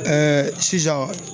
sisan